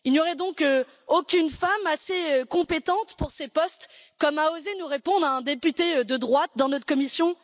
Il n'y aurait donc aucune femme assez compétente pour ces postes, comme a osé nous répondre un député de droite dans notre commission?